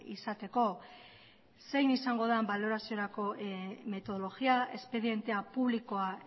izateko zein izango den baloraziorako metodologia espedientea publikoa